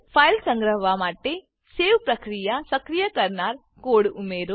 file સંગ્રહવા માટે save પ્રક્રિયા સક્રિય કરનાર કોડ ઉમેરો